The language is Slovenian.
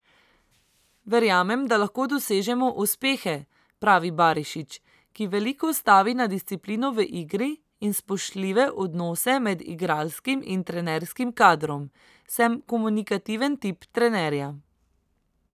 Verjamem, da lahko dosežemo uspehe," pravi Barišić, ki veliko stavi na disciplino v igri in spoštljive odnose med igralskim in trenerskim kadrom: "Sem komunikativen tip trenerja.